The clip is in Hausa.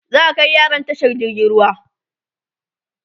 za'a Kai yaran tashar jirgin ruwa